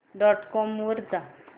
dot com वर जा